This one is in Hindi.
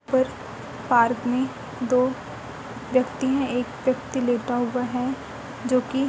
पर पार्क में दो व्यक्ति है एक व्यक्ति लेटा हुआ है जो कि--